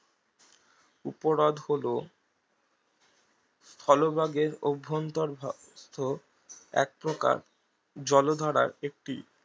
উপহ্রদ হলো স্থলভাগের অভ্যন্তর একপ্রকার জলধারার একটি